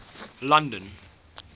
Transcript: london